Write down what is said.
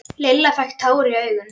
Lilla fékk tár í augun.